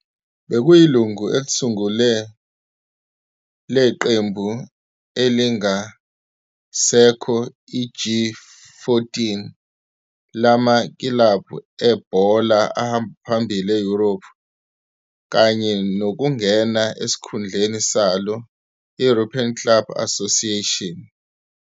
Bekuyilungu elisungule leqembu elingasekho i-G-14 lamakilabhu ebhola ahamba phambili e-Europe kanye nokungena esikhundleni salo, i- European Club Association.